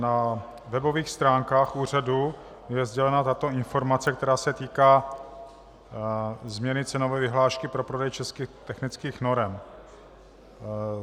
Na webových stránkách úřadu je sdělena tato informace, která se týká změny cenové vyhlášky pro prodej českých technických norem.